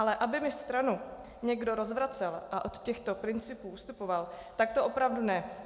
Ale aby mi stranu někdo rozvracel a od těchto principů ustupoval, tak to opravdu ne.